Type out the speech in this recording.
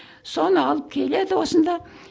соны алып келеді осында